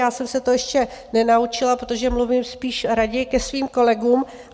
Já jsem se to ještě nenaučila, protože mluvím spíš raději ke svým kolegům.